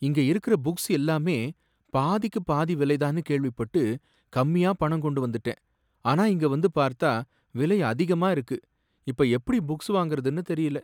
இங்க இருக்குற புக்ஸ் எல்லாமே பாதிக்கு பாதி விலை தான்னு கேள்விப்பட்டு கம்மியா பணம் கொண்டு வந்துட்டேன், ஆனா இங்க வந்து பார்த்தா விலை அதிகமா இருக்கு, இப்ப எப்படி புக்ஸ் வாங்கறதுன்னு தெரியல.